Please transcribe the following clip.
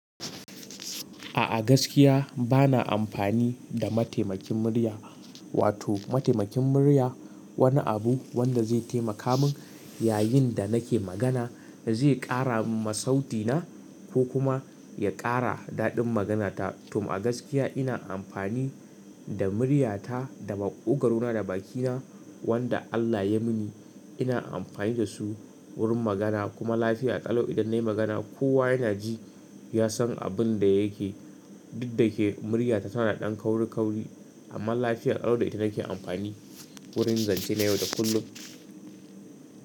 A'a gaskiya bana amfani da mataimakin murya, wato mataimakin murya wani abu wanda zai taimaka min yayin da nake magana zai ƙara ma sauti na ko kuma ya ƙara daɗin maganata. To a gaskiya ina amfani da muryata da maƙogaro na da bakina wanda Allah ya mini ina amfani da su wurin magana kuma lafiya ƙalau idan nayi magana kowa yana ji ya san abin da yake. Duk da ke muryata tana da ƙauri ƙauri amma lafiya ƙalo da ita nake amfani wurin zance na yau da kullum.